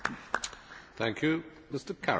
Herr Präsident, meine Damen und Herren!